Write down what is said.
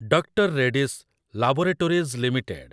doctor Reddy's laboratories limited